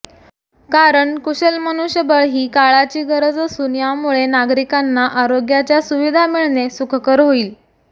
कारण कुशल मनुष्यबळ ही काळाची गरज असून यामुळे नागरिकांना आरोग्याच्या सुविधा मिळणे सुखकर होईल